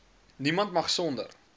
niemand mag sonder